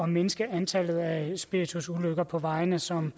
mindske antallet af spiritusulykker på vejene som